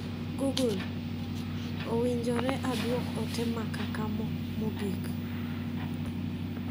Google. Owinjore aduok ote ma kakamo mogik